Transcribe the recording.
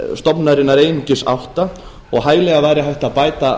stofnunarinnar einungis átta og hæglega væri hægt að bæta